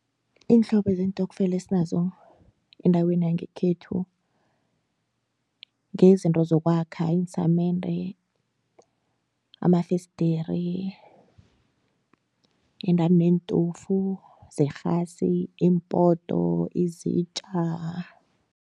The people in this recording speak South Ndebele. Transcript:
Iinhlobo zeentokfela esinazo endaweni yangekhethu ngeyezinto zokwakha iinsamende, amafesdiri endani neentofu zerhasi, iimpoto, izitja.